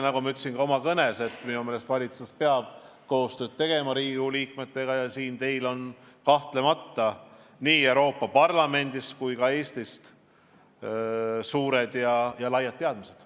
Nagu ma ütlesin ka oma kõnes, minu meelest valitsus peab Riigikogu liikmetega koostööd tegema, ja teil on kahtlemata tänu tööle nii Euroopa Parlamendis kui ka Eestis laialdased teadmised.